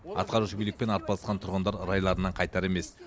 атқарушы билікпен арпалысқан тұрғындар райларынан қайтар емес